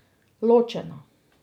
Ločena.